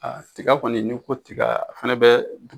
tiga kɔni n'i ko ko tiga a fana bɛ